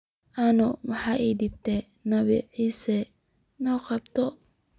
Ano maxa ii dambta nabii Issa soqabto.